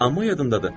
Amma yadımdadır.